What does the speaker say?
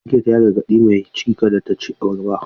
Likitan ya gargaɗi mai ciki kada ta ci abarba.